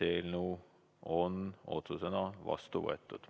Eelnõu on otsusena vastu võetud.